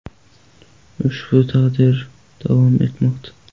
Ushbu tadbir davom etmoqda.